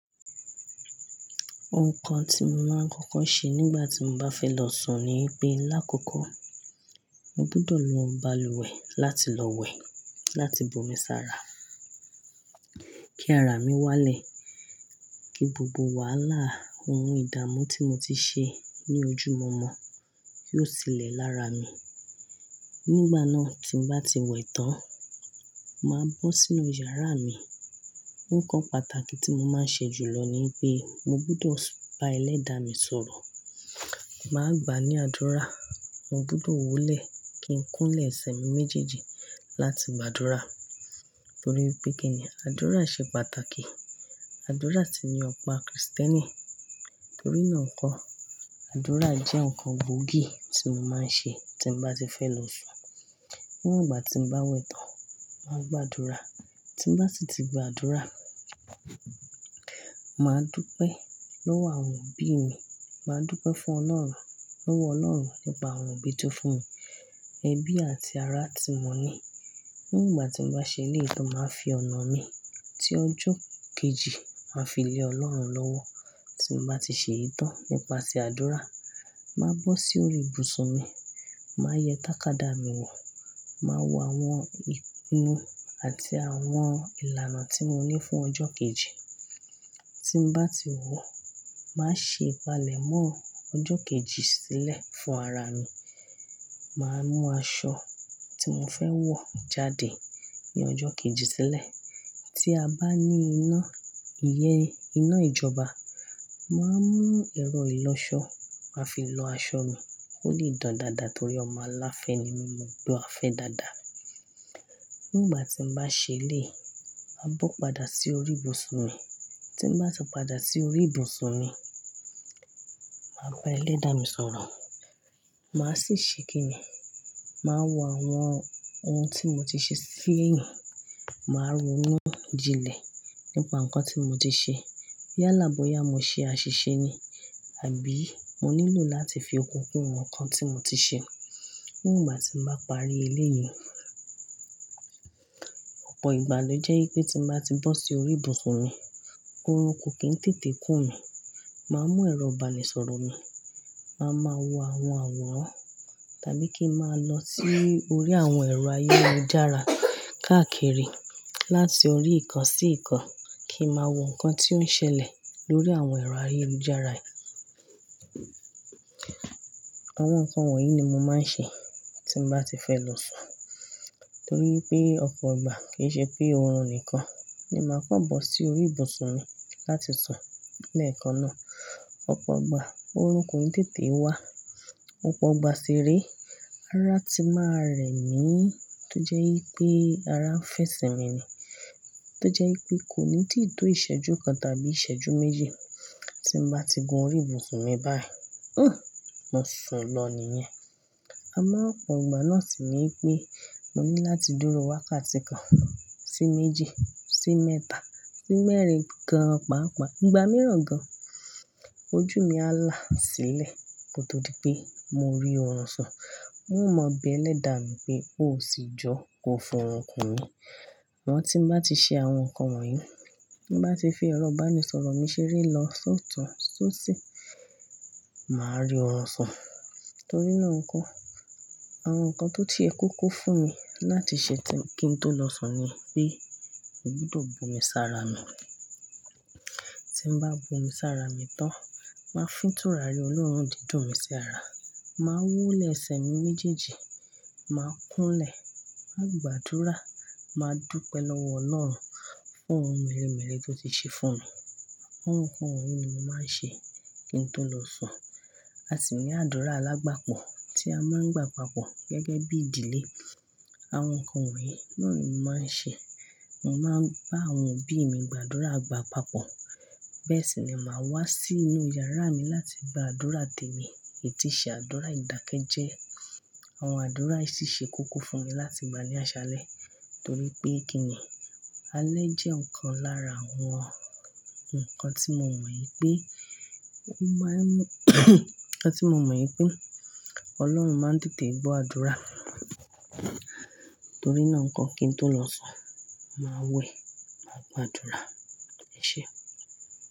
Nǹkan tí mo máa ń kọ́kọ́ ṣe nígbà tí mo bá fẹ́ lọ sùn ni pé lákòókò, mo gbọ́dọ̀ lo balùwẹ̀ láti lọ wẹ̀, láti bu omi sára kí ara mi wálẹ̀, kí gbogbo wàhálà ohun ìdààmú tí mo ti ṣe ní ojú mọ̀ọ́mọ̀ yóò sílẹ̀ lára mi. Nígbà náà tí mo bá ti wẹ̀ tán, màá bọ́ sínú yàrá mi. Nǹkan pàtàkì tí mo máa ń ṣe jùlọ ni pé mo gbọ́dọ̀ bá ẹlẹ́dàá mi sọ̀rọ̀. Màá gbà ní àdúrà, mo gbọ́dọ̀ wólẹ̀ kí n kúnlẹ̀ ẹsẹ̀ mi méjèèjì láti gbàdúrà torí pé kí ni àdúrà ṣe pàtàkì. Àdúrà sì ni ọ̀pá Kristẹni. Torí náà nǹkan, àdúrà jẹ́ nǹkan gboògì tí mo máa ń ṣe tí mo bá ti fẹ́ lọ sùn. Nígbà tí mo bá wẹ̀ tán, màá gbàdúrà. Tí mo bá sì ti gbàdúrà, màá dúpẹ́ lọ́wọ́ àwọn òbí mi, màá dúpẹ́ fún Ọlọ́run, lọ́wọ́ Ọlọ́run nípa àwọn òbí tó fún mi, ẹbí àti ará tí mo ní. Nígbà tí mo bá ṣe léyìí tó máa fi ọ̀nà mi tí ọjọ́ kejì máa fi le Ọlọ́run lọ́wọ́. Tí mo bá ti ṣe ìtọ́ nípa ti àdúrà, màá bọ́ sí orí ibùsùn mi, màá yẹ tàkádá mi wò, màá wo àwọn ìpinnu àti àwọn ìlànà tí mo ní fún ọjọ́ kejì. Tí mo bá ti wò ó, màá ṣe ìpalẹ̀mọ́ ọjọ́ kejì sílẹ̀ fún ara mi. Màá mú aṣọ tí mo fẹ́ wọ̀ jáde ní ọjọ́ kejì sílẹ̀. Tí a bá ní iná, iye iná ìjọba, màá mú ẹ̀rọ ìlọsọ màá fi lọ aṣọ mi kó lè dán dáadáa torí ọmọ aláafẹ́ ni mí mo gbo àfẹ́ dáadáa. Nígbà tí mo bá ṣe léyìí, a bọ́ padà sí orí ibùsùn mi. Tí mo bá tún padà sí orí ibùsùn mi, màá bá ẹlẹ́dàá mi sọ̀rọ̀. Màá sì ṣe kí ni, màá wo àwọn ohun tí mo ti ṣe síyìn, màá ronú jinlẹ̀ nípa nǹkan tí mo ti ṣe. Yala bóyá mo ṣe àṣìṣe ni àbí mo nílò láti fi òkun kún nǹkan tí mo ti ṣe. Nígbà tí mo bá parí eléyìí, ọ̀pọ̀ ìgbà lò jẹ́ pé tí mo bá ti bọ́ sí orí ibùsùn mi, orún ko kì í tètè kú mi. Màá mú ẹ̀rọ ìbánisọ̀rọ̀ mi, màá máa wo àwọn àwòrán tàbí kí n máa lọ sí orí àwọn ẹ̀rọ ayélujára káàkiri láti orí ìkan sí ìkan kí n máa wo nǹkan tí ó ń ṣẹlẹ̀ lórí àwọn ẹ̀rọ ayélujára yìí. Àwọn nǹkan wọ̀nyí ni mo máa ń ṣe tí mo bá ti fẹ́ lọ sùn torí pé ọ̀pọ̀ ìgbà kì í ṣe pé oorun nìkan ni màá pọ̀ bọ́ sí orí ibùsùn mi láti sùn. Lẹ́ẹ̀kan náà, ọ̀pọ̀ ìgbà orún ko n tètè wá. Ọ̀pọ̀ ìgbà sì rí ará ti máa rẹ̀ mí tó jẹ́ pé ará ń fẹsẹ̀ mi ni. Tó jẹ́ pé kò ní tì tó ìṣẹ́jú kan tàbí ìṣẹ́jú méji tí mo bá ti gun orí ibùsùn mi báyìí, hmmm, mo sùn lọ nìyẹn. Àmọ́ ọ̀pọ̀ ìgbà náà sì ní pé mo ní láti dúró wákàtí kan sí méjì sí mẹ́ta sí mẹ́rin gan-an pàápàá, ìgbà mìíràn gan-an ojú mi á là sílẹ̀ kó tó di pé mo rí oorun sùn. N ó mọ bí ẹlẹ́dàá mi pé ó ò sì jọ kó fún orún kún mi. Wọn tí mo bá ti ṣe àwọn nǹkan wọ̀nyí, tí mo bá ti fi ẹ̀rọ ìbánisọ̀rọ̀ mi ṣeré lọ sótun sóṣi, màá rí oorun sùn. Torí náà nko, àwọn nǹkan tó ti e kókó fún mi láti ṣe kí n tó lọ sùn ni pé mo gbọ́dọ̀ bu omi sára mi. Tí mo bá bu omi sára mi tán, màá fìtúrà rí Ọlọ́run dídùn mi sí ara, màá wólẹ̀ ẹsẹ̀ mi méjèèjì, màá kúnlẹ̀, màá gbàdúrà, màá dúpẹ́ lọ́wọ́ Ọlọ́run fún ohun mèremère tó ti ṣe fún mi. Àwọn nǹkan wọ̀nyí ni mo máa ń ṣe kí n tó lọ sùn. A sì ní àdúrà alágbapọ̀ tí a máa ń gbà papọ̀ gẹ́gẹ́ bí ìdílé. Àwọn nǹkan wọ̀nyí náà ni mo máa ń ṣe. Mo máa ń bá àwọn òbí mi gbàdúrà agbà papọ̀. Bẹ́ẹ̀ sì ni màá wá sínú yàrá mi láti gba àdúrà tẹ̀mì, ètìṣẹ́ àdúrà, ìdákẹ́jẹ́. Àwọn àdúrà yìí sì ṣe kúkú fún mi láti gbani aṣálẹ́ torí pé kí ni alẹ́ jẹ́ nǹkan lára àwọn nǹkan ti mo mo wipe tí mo mọ̀ pé Ọlọ́run máa ń tètè gbọ́ àdúrà. Torí náà nǹkan kí n tó lọ sùn, màá wẹ̀, màá gbàdúrà. EṢé.